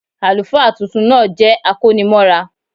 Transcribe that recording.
Àlùfáà tuntun náà jẹ́ akónimọ́ra